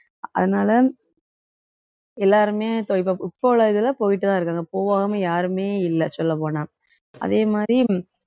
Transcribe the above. அதனால எல்லாருமே இப்ப இப்~ இப்ப உள்ள இதுல போயிட்டு தான் இருக்காங்க போகாம யாருமே இல்ல சொல்லப் போனா அதே மாதிரி